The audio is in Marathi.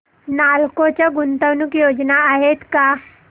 नालको च्या गुंतवणूक योजना आहेत का